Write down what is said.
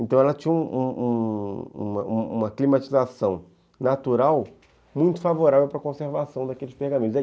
Então ela tinha um um uma climatização natural muito favorável para a conservação daqueles pergaminhos.